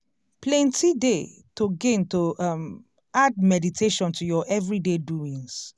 plenty dey to gain to um add meditation to ur everyday doings.